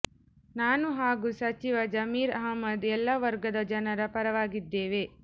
ನಾನು ಹಾಗೂ ಸಚಿವ ಜಮೀರ್ ಅಹ್ಮದ್ ಎಲ್ಲ ವರ್ಗದ ಜನರ ಪರವಾಗಿದ್ದೇವೆ